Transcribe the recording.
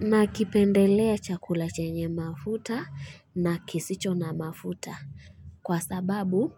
Na kipendelea chakula chenye mafuta na kisicho na mafuta kwa sababu